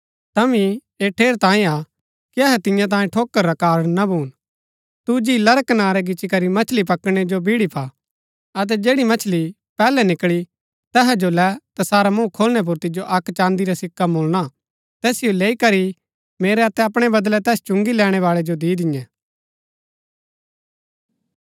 तांभी ऐह ठेरैतांये हा कि अहै तियां तांयें ठोकर रा कारण ना भून तू झीला रै कनारै गिच्ची करी मछली पकड़णै जो बिईड़ी पा अतै जैड़ी मछली पैहलै निकळली तैहा जो लै तैसारा मूँह खोलनै पुर तिजो अक्क चाँदी रा सिक्का मुळना तैसिओ लैई करी मेरै अतै अपणै बदलै तैस चुंगी लैणैबाळै जो दि दिन्यै